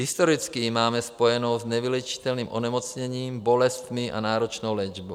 Historicky ji máme spojenou s nevyléčitelným onemocněním, bolestmi a náročnou léčbou.